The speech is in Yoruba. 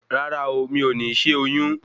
Rárá o, mi ò ní ṣé oyún